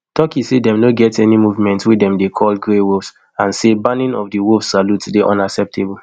turkey say dem no get any movement wey dem dey call grey wolves and say banning of di wolf salute dey unacceptable